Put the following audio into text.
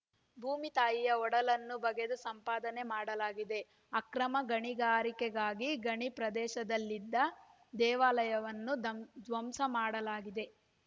ಭೂಮಿತಾಯಿಯ ಒಡಲನ್ನು ಬಗೆದು ಸಂಪಾದನೆ ಮಾಡಲಾಗಿದೆ ಅಕ್ರಮ ಗಣಿಗಾರಿಕೆಗಾಗಿ ಗಣಿ ಪ್ರದೇಶದಲ್ಲಿದ್ದ ದೇವಾಲಯವನ್ನು ಧ್ಮ್ ಧ್ವಂಸ ಮಾಡಲಾಗಿದೆ